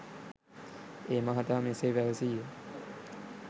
ඒ මහතා මෙසේ පැවසීය.